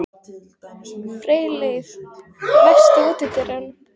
Freyleif, læstu útidyrunum.